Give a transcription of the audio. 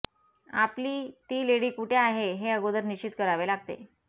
आपली ती लेडी कुठे आहे हे अगोदर निश्चित करावे लागते